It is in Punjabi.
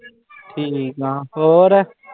ਠੀਕ ਆ, ਹੋਰ।